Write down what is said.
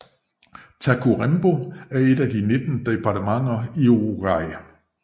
Tacuarembó er et af de 19 departementer i Uruguay